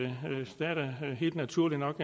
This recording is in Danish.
naturligt nok